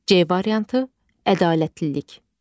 C variantı ədalətlilik.